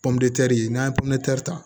Pɔnputɛri n'an ye pɔnpɛri ta